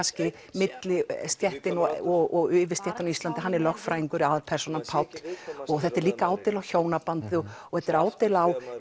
millistéttin og yfirstéttina á Íslandi hann er lögfræðingur aðalpersónan Páll og þetta er líka ádeila á hjónabandið og og þetta er ádeila á